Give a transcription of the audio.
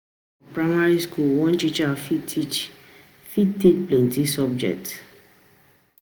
For primary school, one teacher fit teacher fit take plenty subject